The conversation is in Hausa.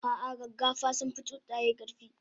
ah ah gaggafa sunfi tsuntsaye karfi